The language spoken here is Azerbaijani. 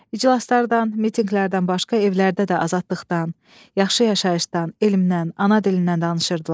İclaslardan, mitinqlərdən başqa evlərdə də azadlıqdan, yaxşı yaşayışdan, elmdən, ana dilindən danışırdılar.